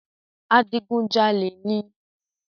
Adigun jalè níí